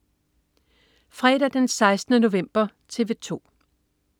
Fredag den 16. november - TV 2: